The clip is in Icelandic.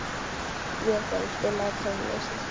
Végerður, spilaðu tónlist.